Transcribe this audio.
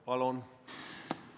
Palun!